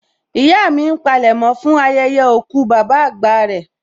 Ìyá mi ń palẹ̀mọ́ fún ayẹyẹ òkú bàbá àgbà rẹ